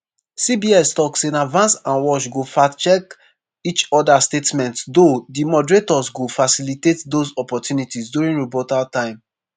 cbs tok say na vance and walz go fact-check each oda statements though “di moderators go facilitate those opportunities” during rebuttal time.